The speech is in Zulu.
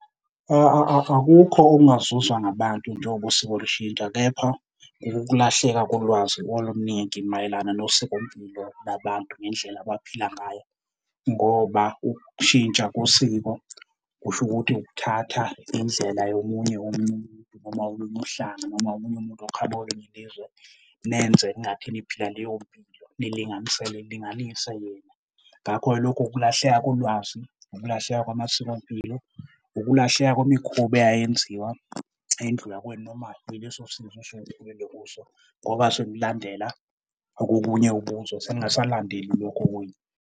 Akukho okungazuzwa ngabantu njengoba usiko lushintsha kepha kukulahleka kolwazi oluningi mayelana nosikompilo labantu ngendlela abaphila ngayo. Ngoba ukushintsha kosiko kusho ukuthi ukuthatha indlela yomunye umuntu, noma olunye uhlanga, noma omunye umuntu oqhamuke kwelinye ilizwe nenze kungathi niphila leyo mpilo nilinganisele, nilinganise yena. Ngakho-ke lokho ukulahleka kolwazi, ukulahleka kwamasikompilo, ukulahleka kwemikhuba eyayenziwa indlu yakwenu noma yileso sizwe okusuke kukhulelwe kuso ngoba sekulandela okobunye ubuzwe, seningasalandeli lokhu okwenu.